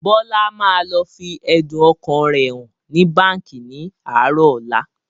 Bọlá máa lọ fi ẹ̀dùn ọkàn rẹ hàn ní báńkì ni àárọ̀ ọ̀la